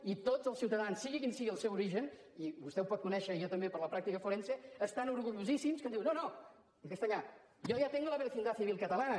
i tots els ciutadans sigui quin sigui el seu origen i vostè ho pot conèixer i jo també per la pràctica forense n’estan orgullosíssims que diuen no no en castellà yo ya tengo la vecindad civil catalana